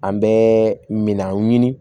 An bɛ minan ɲini